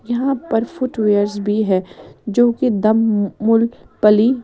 यहाँ पर फुटवियर्स भीं हैं जो की दम मूल पली--